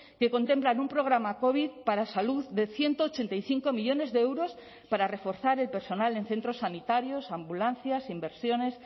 que contemplan un programa covid para salud de ciento ochenta y cinco millónes de euros para reforzar el personal en centros sanitarios ambulancias inversiones